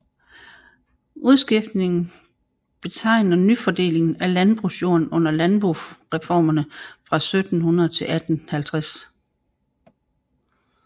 Udskiftningen betegner nyfordelingen af landbrugsjorden under Landboreformerne fra 1700 til 1850